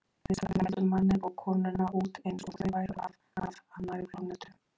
Viðstaddir mældu manninn og konuna út eins og þau væru af af annarri plánetu.